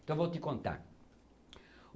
Então eu vou te contar.